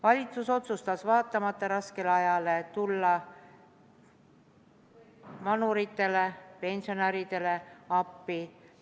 Valitsus otsustas, vaatamata raskele ajale, tulla vanuritele, pensionäridele appi.